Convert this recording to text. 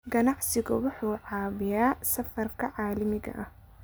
Aqoonsigu wuxuu caawiyaa safarka caalamiga ah.